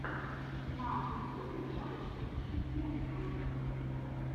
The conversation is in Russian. на ютюбе можешь включить музыка